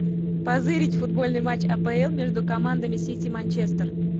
позырить футбольный матч апл между командами сити манчестер